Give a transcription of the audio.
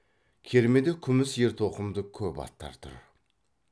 кермеде күміс ертоқымды көп аттар тұр